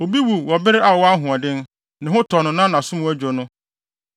Obi wu wɔ bere a ɔwɔ ahoɔden ne ho tɔ no na nʼaso mu adwo no,